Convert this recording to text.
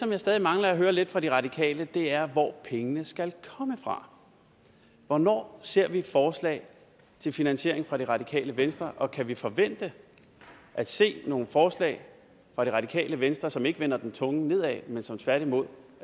jeg stadig mangler at høre lidt om fra de radikale er hvor pengene skal komme fra hvornår ser vi forslag til finansiering fra det radikale venstre og kan vi forvente at se nogle forslag fra det radikale venstre som ikke vender den tunge ende nedad men som tværtimod